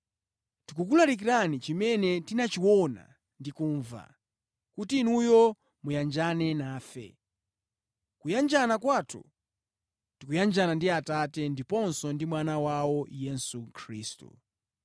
Tikukulalikirani chimene tinachiona ndi kumva, kuti inuyo muyanjane nafe. Kuyanjana kwathu, tikuyanjana ndi Atate ndiponso ndi Mwana wawo, Yesu Khristu.